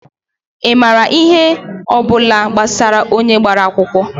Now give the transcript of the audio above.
Ị maara ihe ọ bụla gbasara onye gbara akwụkwọ?